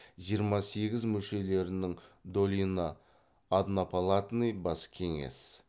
жиырма сегіз мүшелерінің долина однопалатный бас кеңес